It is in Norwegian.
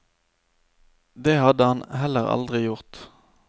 Det hadde han heller aldri gjort.